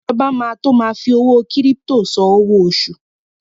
Ìjọba máa to ma fi owó kírípítò san owó oṣù.